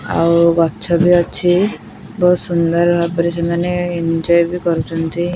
ଆଉ ଗଛ ବି ଅଛି ବହୁତ୍ ସୁନ୍ଦର ଭାବରେ ସେମାନେ ଏ ଏଞ୍ଜୟ୍ ବି କରୁଚନ୍ତି।